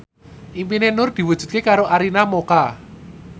impine Nur diwujudke karo Arina Mocca